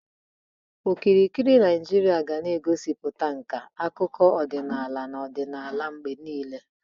Okirikiri ala Naijiria ga na-egosipụta nka, akụkọ ọdịnala, na ọdịnala mgbe niile.